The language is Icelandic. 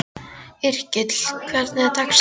Yrkill, hvernig er dagskráin?